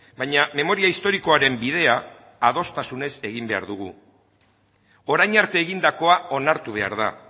baina memoria historikoaren bidea adostasunez egin behar dugu orain arte egindakoa onartu behar da